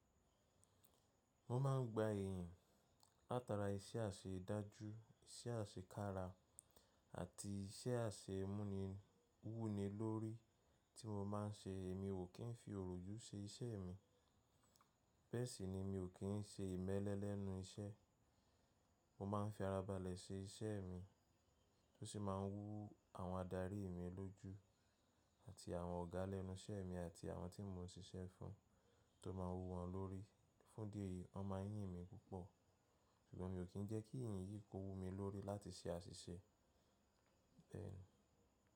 Mo ma ń gba èèyàn látara iṣẹ́ àṣe dájú, iṣẹ́ àṣe kára àti iṣẹ́ àṣe mú ni wú ni lórí tí mo ma ń ṣe èmi ò kín fi orójú ṣe iṣẹ́ mi. Bẹ́ẹ̀ sì ni mi ò kín ń ṣe ìmẹ́lẹ́ lẹ́nu iṣẹ́. Mo ma ń fi ara balẹ̀ ṣe iṣẹ́ mi tó sì ma ń wú àwọn adarí mi lójú àti àwọn ọ̀gá lẹ́nu iṣẹ́ mi àti àwọn tí mo ń ṣiṣẹ́ fún tó ma wú wọn lórí. Fún ìdí èyí, wọ́n ma ń yín mi púpọ̀. Ṣùgbọ́n mi ò kín ń jẹ́ kí ìyín yìí kó wú mi lórí láti ṣe àṣìṣe. Bẹ́ẹ̀ ni.